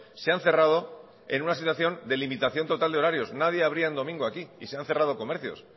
se han cerrado en una situación de limitación total de horarios nadie abría en domingo aquí y se han cerrado comercios